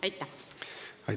Aitäh!